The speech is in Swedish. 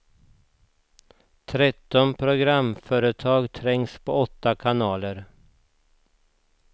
Tretton programföretag trängs på åtta kanaler.